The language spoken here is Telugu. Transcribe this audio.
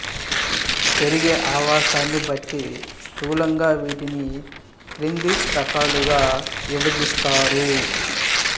పెరిగే అవాసాన్ని బట్టి స్థూలంగా వీటిని క్రింది రకాలుగా విభజిస్తారు